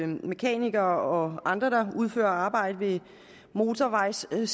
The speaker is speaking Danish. mekanikere og andre der udfører arbejde med motorvejssiden